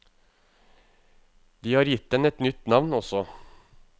De har gitt den et nytt navn også.